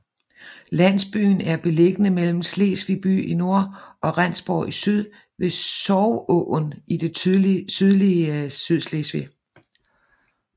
Landsbyen er beliggende mellem Slesvig by i nord og Rendsborg i syd ved Sorgåen i det sydlige Sydslesvig